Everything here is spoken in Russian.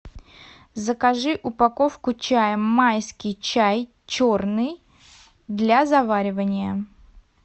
закажи упаковку чая майский чай черный для заваривания